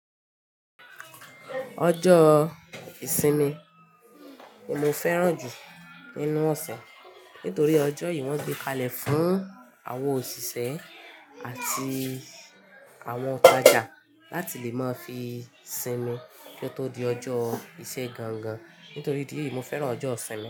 Ọjọ́ ìsinmi ni mo fẹ́ràn jù nínú ọ̀sẹ̀ nítorí ọjọ́ yìí wọ́n gbé kalẹ̀ fún àwọn òṣìṣẹ́ àti àwọn oun tajá láti lè máa fi sinmi kí ó tó di ọjọ́ ìṣe gangan. Nítorí ìdí èyí, mo fẹ́ràn ọjọ́ ìsinmi.